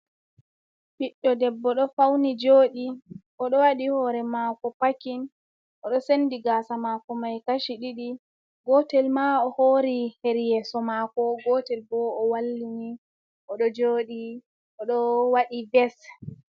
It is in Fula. biɗdo debbo do fauni jodi o do wadi hore mako pakin odo sendi gasa mako mai kashi ɗidi gotel ma o hori heri yeso mako gotel bo o wallini odo jodi odo wadi bes